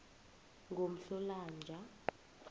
ngomhlolanja